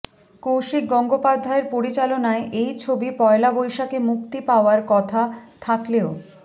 কৌশিক গঙ্গোপাধ্যায়ের পরিচালনায় এই ছবি পয়লা বৈশাখে মুক্তি পাওয়ার কথা থাকলেও